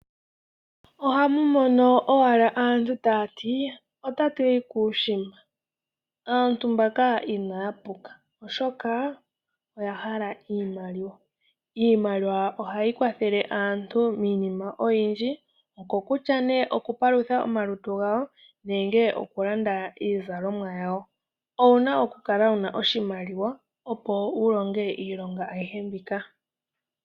Ohamu mono owala aantu tayati otatuyi kuushimba. Aantu mbaka inaya puka oshoka oyahala iimaliwa. Iimaliwa ohayi kwathele aantu miinima oyindji ngaashi okupalutha omalutu gawo nenge okulanda iizalomwa yawo owuna okukala wuna oshimaliwa opo wulonge iilonga ayihe mbika.